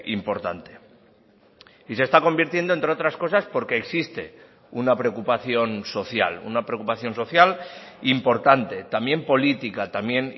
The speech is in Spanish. importante y se está convirtiendo entre otras cosas porque existe una preocupación social una preocupación social importante también política también